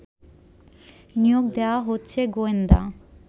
নিয়োগ দেয়া হচ্ছে গোয়েন্দা